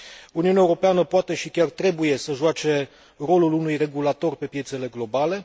Uniunea Europeană poate și chiar trebuie să joace rolul unui regulator pe piețele globale.